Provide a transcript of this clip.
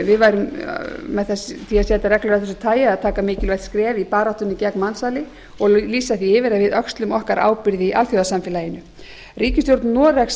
við værum með því að setja reglur af þessu tagi að taka mikilvægt skref í baráttunni gegn mansali og lýsa því yfir að við öxlum okkar ábyrgð í alþjóðasamfélaginu ríkisstjórn noregs